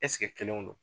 kelenw don